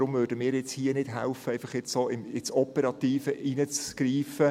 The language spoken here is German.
Deshalb möchten wir hier nicht helfen, einfach so ins Operative einzugreifen.